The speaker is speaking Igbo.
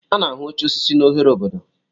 A na-ahụ oche osisi n'ohere obodo.